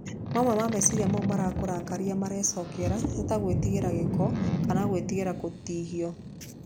Mamwe ma meciria mau marakũrakaria marecokera nĩ ta gwĩtigĩra gĩko kana gwĩtigĩra gũtihio.